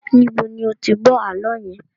Níbo ni ó ti gbọ́ àálọ́ yẹn?